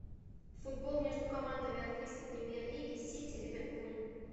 футбол между командами английской премьер лиги сити ливерпуль